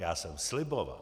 Já jsem sliboval.